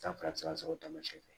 San fila bɛ se ka sɔrɔ o tamasiyɛn